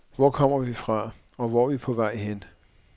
Hvor kommer vi fra, og hvor er vi på vej hen.